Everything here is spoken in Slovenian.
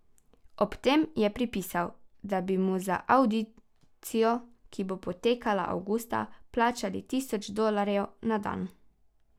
Ob tem je pripisal, da bi mu za avdicijo, ki bo potekala avgusta, plačali tisoč dolarjev na dan.